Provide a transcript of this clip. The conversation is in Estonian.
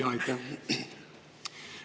Aitäh!